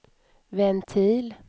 ventil